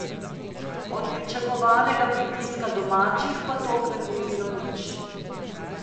Od pričakovanega pritiska domačih pa tokrat ni bilo nič.